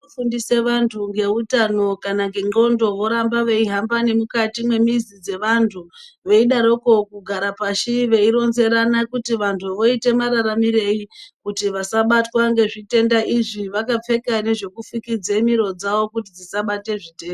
Fundise vantu ngeutano kana ngendxondo voramba veihamba nemukati memwizi dzevantu veidaroko kugara pashi , veironzerana kuti voite mararamirei kuti vasabatwa ngezvitenda izvi vakapfeka nezvekufukidze miro dzavo kuti dzisabate zvitenda.